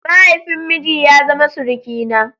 Mahaifin miji ya zama surukina.